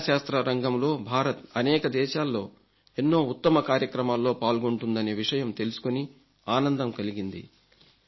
విజ్ఞాన శాస్త్ర రంగంలో భారత్ అనేక దేశాల్లో ఎన్నో ఉత్తమ కార్యక్రమాల్లో పాల్గొంటుందనే విషయం తెలుసుకొని ఆనందం కలిగింది